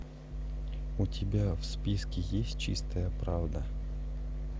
у тебя в списке есть чистая правда